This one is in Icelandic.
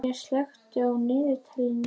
Marín, slökktu á niðurteljaranum.